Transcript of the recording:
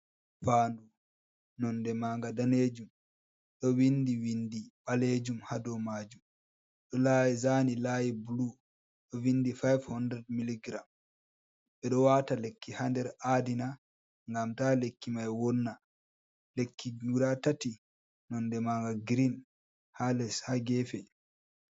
Fandu nonde maga Danejum, ɗo windi windi Ɓalejum ha dou majum. Ɗo layi zani layi bulu ɗo windi 500 mg ɓe ɗo wata Lekki ha nder adina ngam ta lekki mai wonna. Lekki guda tati nonde manga Girin ha les ha gefe.